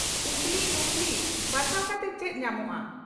ᱩᱥᱞᱤ ᱱᱩᱠᱞᱤ ᱵᱟᱪᱷᱟᱣ ᱠᱟᱛᱮ ᱪᱮᱫ ᱧᱟᱢᱚᱜᱼᱟ?